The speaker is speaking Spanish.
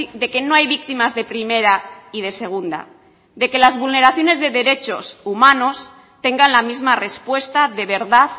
de que no hay víctimas de primera y de segunda de que las vulneraciones de derechos humanos tengan la misma respuesta de verdad